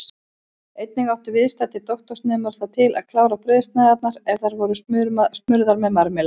Einnig áttu viðstaddir doktorsnemar það til að klára brauðsneiðarnar ef þær voru smurðar með marmelaði.